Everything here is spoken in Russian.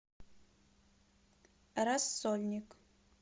рассольник